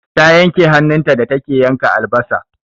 Ta yanke hannun ta da take yanka albasa.